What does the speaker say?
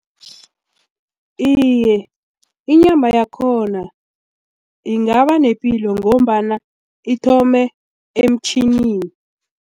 Iye, inyama yakhona ingaba nepilo ngombana ithome emtjhinini.